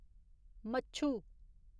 मच्छु